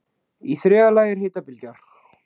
Í þriðja lagi er hitabylgja.